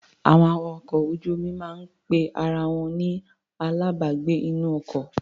Àwọn awakọ̀ ojú-omi máa ń pe ara wọn ni alábàágbé-inú-ọkọ.